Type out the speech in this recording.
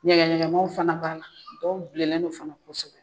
Ɲɛgɛnɲɛgɛn manw fana b'ala dɔw bilelen do fana kosɛbɛ.